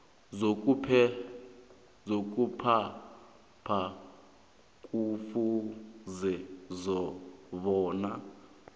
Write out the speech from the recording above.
sokuphatha kufuze bona